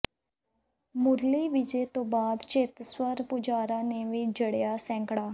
ਮੁਰਲੀ ਵਿਜੇ ਤੋਂ ਬਾਅਦ ਚੇਤੇਸ਼ਵਰ ਪੁਜਾਰਾ ਨੇ ਵੀ ਜੜਿਆ ਸੈਂਕੜਾ